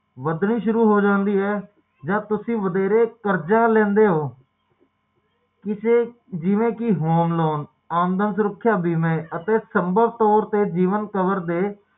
ਇਹ ਅਜੇਹੀ ਘਟਨਾ ਕਿ